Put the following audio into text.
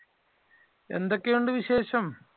എന്തൊക്കെയുണ്ട് വിശേഷം?